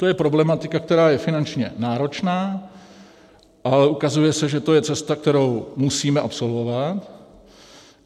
To je problematika, která je finančně náročná, ale ukazuje se, že to je cesta, kterou musíme absolvovat.